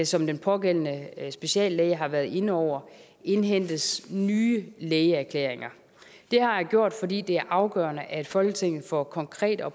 som den pågældende speciallæge har været inde over indhentes nye lægeerklæringer det har jeg gjort fordi det er afgørende at folketinget får konkrete og